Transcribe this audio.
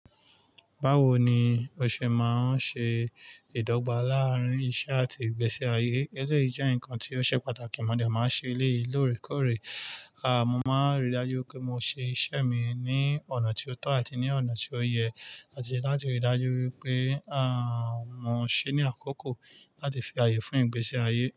Báwo ni o ṣe máa ń ṣe ìdọ́gba láàárín iṣẹ́ àti ìgbésí ayé? Eleyi i jẹ́ nǹkan tí ó ṣe pàtàkì, mo dẹ máa ṣe elé ì lóòrèkóòrè. À, mo máa rí i dájú pé mo ṣe iṣẹ́ mi ní ọ̀nà tí ó tọ́ àti ní ọ̀nà tí ó yẹ láti rí i dájú wípé, à, mo ṣe ní àkókò láti fi ààyè fún ìgbésí ayé.